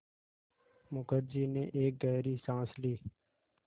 मुखर्जी ने एक गहरी साँस ली